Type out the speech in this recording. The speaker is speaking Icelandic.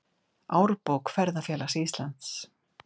Árbók Ferðafélags Íslands.